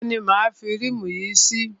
Ibo ni máa a fi rímù yìí sí?